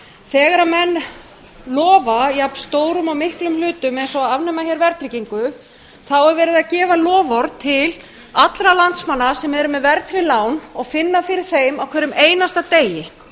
þegar menn lofa jafn stórum og miklum hlutum eins og að afnema hér verðtryggingu þá er verið að gefa loforð til allra landsmanna sem eru með verðtryggð lán og finna fyrir þeim á hverjum einasta degi